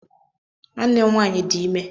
Nwanne m nwaanyị di ime.